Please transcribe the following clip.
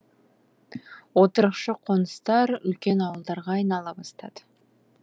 отырықшы қоныстар үлкен ауылдарға айнала бастады